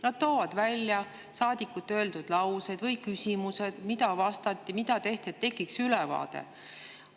Nad toovad välja saadikute öeldud laused või küsimused, selle, mida vastati ja mida tehti, et tekiks ülevaade.